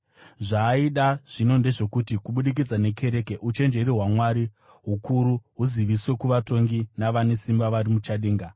Zvaaida zvino ndezvokuti, kubudikidza nekereke, uchenjeri hwaMwari hukuru huziviswe kuvatongi navane simba vari muchadenga,